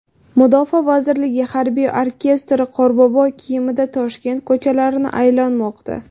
Mudofaa vazirligi harbiy orkestri qorbobo kiyimida Toshkent ko‘chalarini aylanmoqda .